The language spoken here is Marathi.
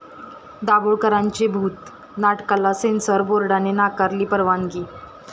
दाभोळकरांचे भूत' नाटकाला सेन्सॉर बोर्डाने नाकारली परवानगी